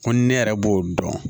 Ko ni ne yɛrɛ b'o dɔn